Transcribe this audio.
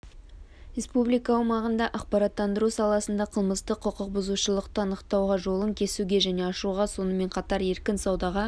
республика аумағында ақпараттандыру саласында қылмыстық құқық бұзушылықты анықтауға жолын кесуге және ашуға сонымен қатар еркін саудаға